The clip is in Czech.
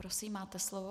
Prosím, máte slovo.